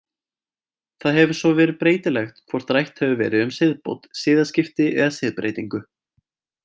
Það hefur svo verið breytilegt hvort rætt hefur verið um siðbót, siðaskipti eða siðbreytingu.